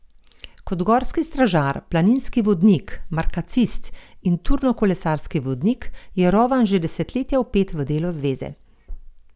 Kot gorski stražar, planinski vodnik, markacist in turnokolesarski vodnik je Rovan že desetletja vpet v delo zveze.